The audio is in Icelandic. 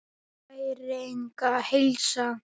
Næring og heilsa.